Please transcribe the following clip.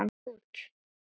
Vill út.